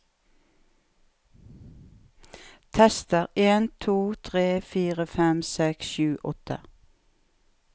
Tester en to tre fire fem seks sju åtte